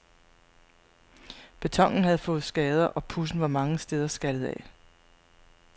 Betonen havde fået skader, og pudsen var mange steder skallet af.